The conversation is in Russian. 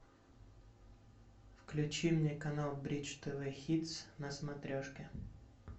включи мне канал бридж тв хитс на смотрешке